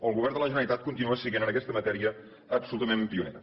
el govern de la generalitat continua sent en aquesta matèria absolutament pioner